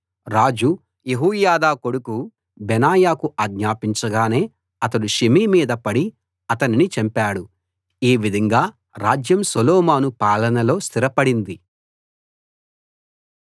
రాజు యెహోయాదా కొడుకు బెనాయాకు ఆజ్ఞాపించగానే అతడు షిమీ మీద పడి అతనిని చంపాడు ఈ విధంగా రాజ్యం సొలొమోను పాలనలో స్థిరపడింది